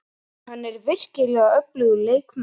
Hann er virkilega öflugur leikmaður.